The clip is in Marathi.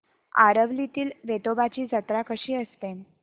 आरवलीतील वेतोबाची जत्रा कशी असते